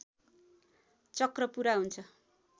चक्र पूरा हुन्छ